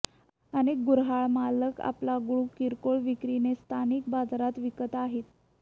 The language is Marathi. अनेक गुर्हाळमालक आपला गूळ किरकोळ विक्रीने स्थानिक बाजारात विकत आहे